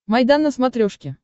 майдан на смотрешке